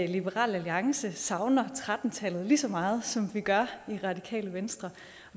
liberal alliance savner tretten tallet lige så meget som vi gør i radikale venstre